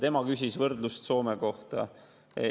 Tema küsis võrdlust Soomega.